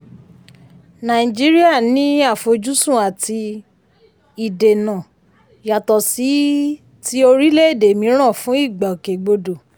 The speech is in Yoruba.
nàìjíríà ní àfojúsùn àti ìdènà yàtọ̀ sí ti orílẹ̀-èdè míràn fún ìgbòkègbodò.